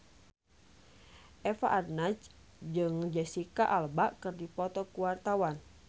Eva Arnaz jeung Jesicca Alba keur dipoto ku wartawan